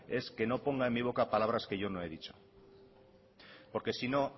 es que no ponga en mi boca palabras que yo no he dicho porque si no